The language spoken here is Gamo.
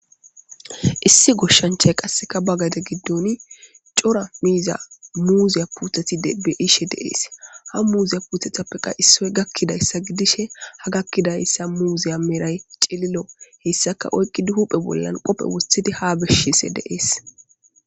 Issi goshshanchchay qassikka ba gade giddooni cora muuziya puuthethi be7ishe de7ees; ha muuziya puuthethappekka issoy gakkidaysa gidishe ha gakkida muuziya meray cililo; hissakka huuphe bolla oykkidi kophe woththidi haa bissiishe de7ees.